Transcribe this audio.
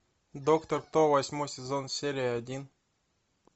доктор кто восьмой сезон серия один